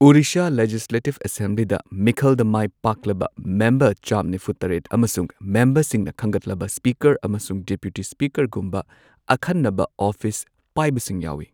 ꯑꯣꯔꯤꯁꯥ ꯂꯦꯖꯤꯁꯂꯦꯇꯤꯕ ꯑꯦꯁꯦꯝꯕ꯭ꯂꯤꯗ ꯃꯤꯈꯜꯗ ꯃꯥꯏ ꯄꯥꯛꯂꯕ ꯃꯦꯝꯕꯔ ꯆꯥꯝꯃ ꯅꯤꯐꯨ ꯇꯔꯦꯠ ꯑꯃꯁꯨꯡ ꯃꯦꯝꯕꯔꯁꯤꯡꯅ ꯈꯟꯒꯠꯂꯕ ꯁ꯭ꯄꯤꯀꯔ ꯑꯃꯁꯨꯡ ꯗꯤꯄꯨꯇꯤ ꯁ꯭ꯄꯤꯀꯔꯒꯨꯝꯕ ꯑꯈꯟꯅꯕ ꯑꯣꯐꯤꯁ ꯄꯥꯏꯕꯁꯤꯡ ꯌꯥꯎꯏ꯫